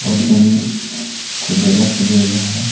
और जमीन खुदरेला खुदरेला है।